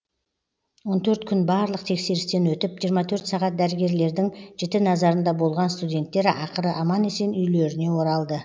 он төрт күн барлық тексерістен өтіп жиырма төрт сағат дәрігерлердің жіті назарында болған студенттер ақыры аман есен үйлеріне оралды